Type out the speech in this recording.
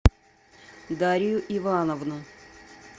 дарью ивановну